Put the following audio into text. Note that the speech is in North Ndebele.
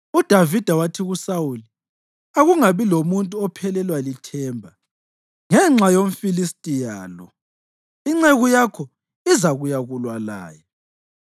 UDavida wathi kuSawuli, “Akungabi lomuntu ophelelwa lithemba ngenxa yomFilistiya lo; inceku yakho izakuyakulwa laye.”